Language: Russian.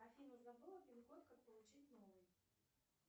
афина забыла пин код как получить новый